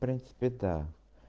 в принципе та